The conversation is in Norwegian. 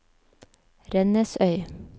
Rennesøy